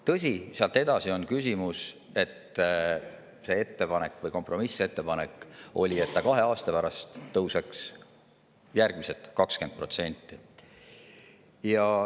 Tõsi, sealt edasi on küsimus, kas see võiks kahe aasta pärast tõusta, nagu kompromissettepanek oli, veel 20%.